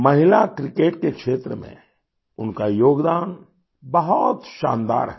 महिला क्रिकेट के क्षेत्र में उनका योगदान बहुत शानदार है